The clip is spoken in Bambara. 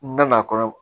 N na na kɔnɔ